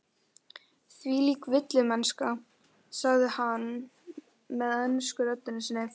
Þvílík villimennska, sagði hann með ensku röddinni sinni.